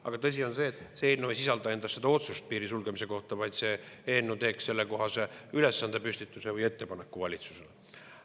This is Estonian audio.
Aga tõsi on see, et see eelnõu ei sisalda endas otsust piiri sulgemise kohta, vaid see eelnõu teeb sellekohase ülesande püstituse või ettepaneku valitsusele.